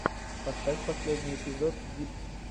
поставь последний эпизод дипт